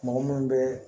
Mɔgɔ munnu be